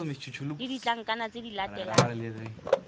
le ditlankana tse di latelang